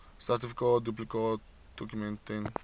sertifikaat duplikaatdokument ten